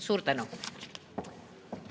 Suur tänu!